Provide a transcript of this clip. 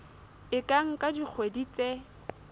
e ka nka dikgwedi tse